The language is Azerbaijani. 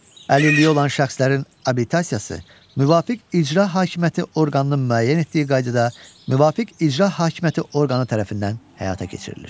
Əlilliyi olan şəxslərin abilitasiyası müvafiq icra hakimiyyəti orqanının müəyyən etdiyi qaydada müvafiq icra hakimiyyəti orqanı tərəfindən həyata keçirilir.